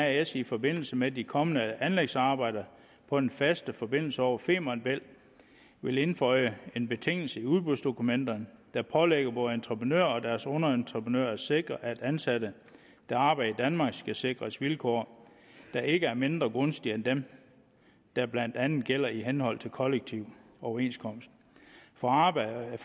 as i forbindelse med de kommende anlægsarbejder på den faste forbindelse over femern bælt vil indføje en betingelse i udbudsdokumenterne der pålægger både entreprenører og deres underentreprenører at sikre at ansatte der arbejder i danmark skal sikres vilkår der ikke er mindre gunstige end dem der blandt andet gælder i henhold til kollektiv overenskomst for arbejde